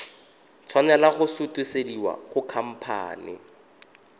tshwanela go sutisediwa go khamphane